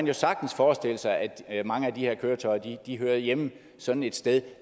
jo sagtens forestille sig at at mange af de her køretøjer hører hjemme sådan et sted